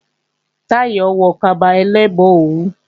Táyọ̀ ń wọ kaba ẹlẹ́gbọn òwú